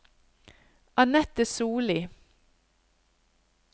Anette Sollie